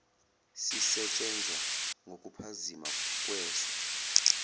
sisetshenzwa ngokuphazima kweso